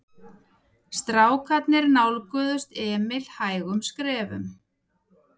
Strákarnir nálguðust Emil hægum skrefum.